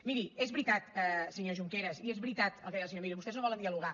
miri és veritat senyor junqueras i és veritat el que deia el senyor millo vostès no volen dialogar